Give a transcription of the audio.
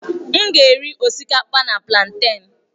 M ga-eri osikapa na plantèn.